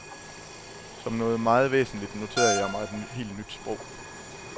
Som noget meget væsentlig noterede jeg mig et helt nyt sprog.